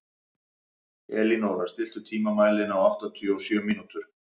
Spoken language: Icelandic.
Elínóra, stilltu tímamælinn á áttatíu og sjö mínútur.